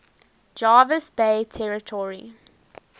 jervis bay territory